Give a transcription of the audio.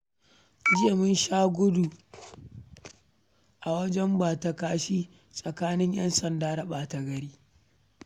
Jiya mun sha gudu a wajen bata-kashi tsakanin 'yansanda da ɓata-gari